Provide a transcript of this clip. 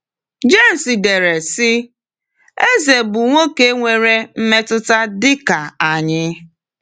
James dere, sị: “Eze bụ nwoke nwere mmetụta dị ka anyị.”